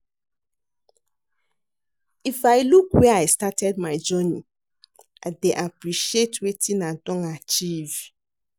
If I look where I started my journey, I dey appreciate wetin i don achieve.